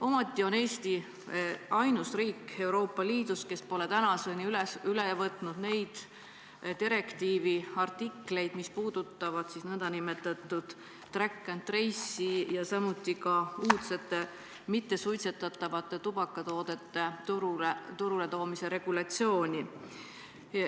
Ometi on Eesti ainus riik Euroopa Liidus, kes pole tänaseni üle võtnud neid direktiivi artikleid, mis puudutavad nn track and trace'i ja samuti uudsete mittesuitsetatavate tubakatoodete turule toomise regulatsiooni.